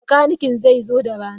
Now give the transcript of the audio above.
Makanikin zai zo da rana.